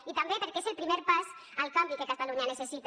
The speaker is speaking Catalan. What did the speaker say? i també perquè és el primer pas al canvi que catalunya necessita